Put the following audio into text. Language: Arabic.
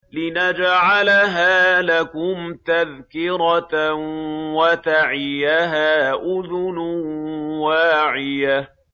لِنَجْعَلَهَا لَكُمْ تَذْكِرَةً وَتَعِيَهَا أُذُنٌ وَاعِيَةٌ